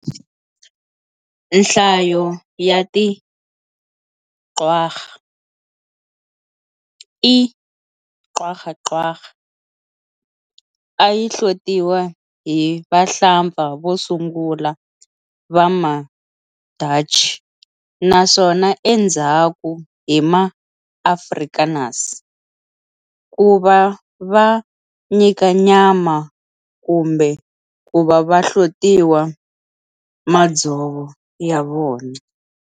Nhlayo ya ti quagga, "E. quagga quagga", ayi hlotiwa hi vahlapfa vosungula va ma-Dutch naswona endzhaku hi ma-Afrikaners kuva va nyika nyama kumbe kuva va hlotiwa madzovo ya vona.